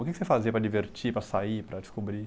O que que você fazia para divertir, para sair, para descobrir?